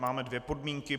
Máme dvě podmínky.